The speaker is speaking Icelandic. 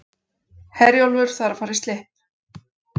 Herjólfur þarf að fara í slipp